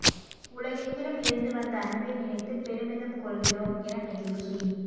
உலகெங்கிலும் இருந்து வந்த அன்பை நினைத்து பெருமிதம் கொள்கிறோம் என நெகிழ்ச்சி